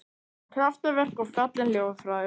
Kraftaverk og falleg ljóð frá þér